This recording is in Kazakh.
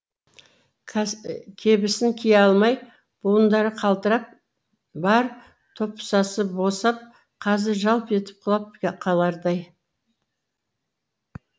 кебісін кие алмай буындары қалтырап бар топсасы босап қазір жалп етіп құлап қалардай